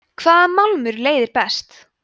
hvaða málmur leiðir best